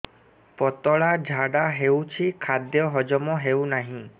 ପତଳା ଝାଡା ହେଉଛି ଖାଦ୍ୟ ହଜମ ହେଉନାହିଁ